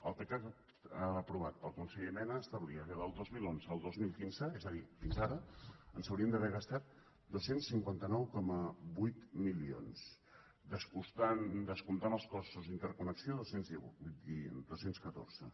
el pecac aprovat pel conseller mena establia que del dos mil onze al dos mil quinze és a dir fins ara ens hauríem d’haver gasat dos cents i cinquanta nou coma vuit milions descomptant els costos d’interconnexió dos cents i catorze